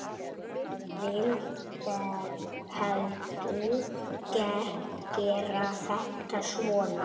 Vil heldur gera þetta svona.